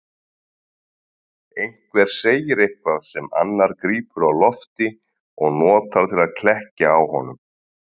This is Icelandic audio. Einhver segir eitthvað sem annar grípur á lofti og notar til að klekkja á honum.